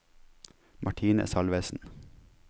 Martine Salvesen